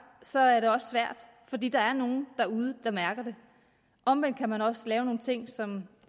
så er det også svært fordi der er nogle derude der mærker det omvendt kan man også lave nogle ting som